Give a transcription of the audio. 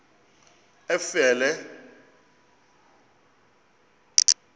efele